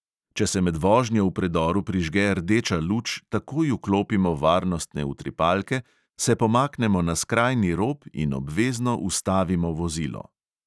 Če se med vožnjo v predoru prižge rdeča luč, takoj vklopimo varnostne utripalke, se pomaknemo na skrajni rob in obvezno ustavimo vozilo.